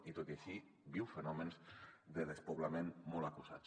i tot i així viu fenòmens de despoblament molt acusats